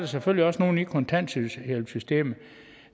selvfølgelig også nogen i kontanthjælpssystemet